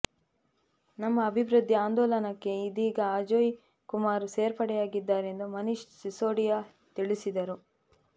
ನಮ್ಮ ಅಭಿವೃದ್ಧಿ ಅಂದೋಲನಕ್ಕೆ ಇದೀಗ ಅಜೋಯ್ ಕುಮಾರ್ ಸೇರ್ಪಡೆಯಾಗಿದ್ದಾರೆ ಎಂದು ಮನೀಶ್ ಸಿಸೋಡಿಯಾ ತಿಳಿಸಿದರು